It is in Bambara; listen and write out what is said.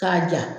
K'a ja